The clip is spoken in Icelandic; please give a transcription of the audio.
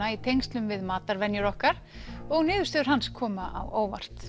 í tengslum við matarvenjur okkar og niðurstöður hans koma á óvart